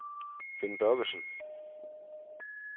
Finn Børgesen